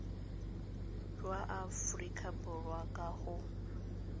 jwa aforika borwa ka go